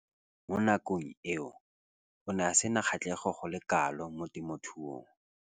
Mo nakong eo o ne a sena kgatlhego go le kalo mo temothuong.